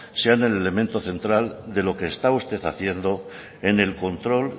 sean el elemento central de lo que está usted haciendo en el control